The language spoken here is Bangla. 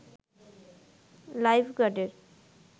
লাইফ গার্ডের